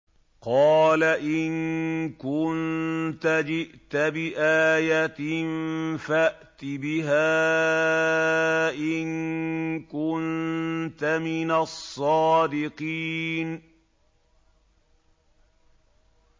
قَالَ إِن كُنتَ جِئْتَ بِآيَةٍ فَأْتِ بِهَا إِن كُنتَ مِنَ الصَّادِقِينَ